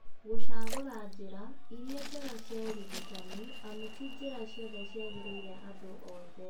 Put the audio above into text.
Gũcagũra njĩra irĩa njega cia ũrigitani amu ti njĩra ciothe ciagagĩrĩrĩra andũ othe